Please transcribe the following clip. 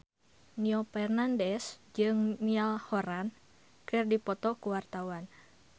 Nino Fernandez jeung Niall Horran keur dipoto ku wartawan